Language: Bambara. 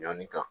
Ɲani kan